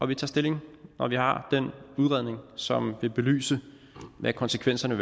vi tager stilling når vi har den udredning som vil belyse hvad konsekvenserne